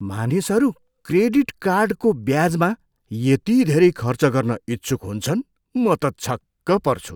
मानिसहरू क्रेडिट कार्डको ब्याजमा यति धेरै खर्च गर्न इच्छुक हुन्छन्, म त छक्क पर्छु।